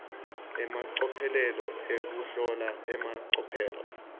emacophelo ekuhlola emacophelo